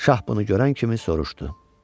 Şah bunu görən kimi soruşdu: